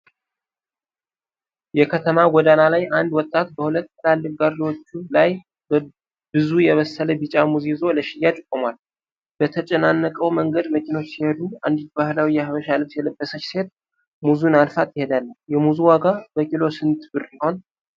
የከተማ ጎዳና ላይ አንድ ወጣት በሁለት ትላልቅ ጋሪዎች ላይ ብዙ የበሰለ ቢጫ ሙዝ ይዞ ለሽያጭ ቆሟል። በተጨናነቀው መንገድ መኪኖች ሲሄዱ፣ አንዲት ባህላዊ የሐበሻ ልብስ የለበሰች ሴት ሙዙን አልፋ ትሄዳለች። የሙዙ ዋጋ በኪሎ ስንት ብር ይሆን?